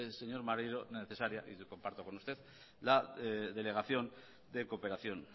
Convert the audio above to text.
señor maneiro necesaria y lo comparto con usted la delegación de cooperación